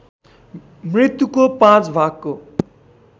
मृत्युको पाँच भागको